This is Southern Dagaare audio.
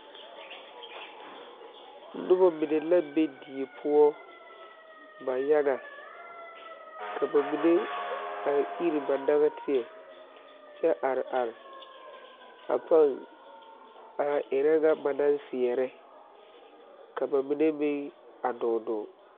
Nobɔ mine la be die poɔ ba yaga ka ba mine a ire ba nagteɛ kyɛ are are a paŋ a are erɛ ŋa ba naŋ seɛɛrɛ ka ba mine meŋ a dɔɔ dɔɔ.